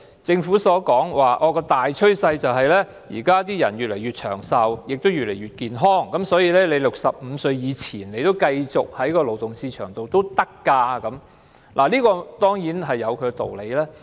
政府說現在的大趨勢是人們越來越長壽，越來越健康 ，65 歲前可繼續留在勞動市場，這當然有其道理。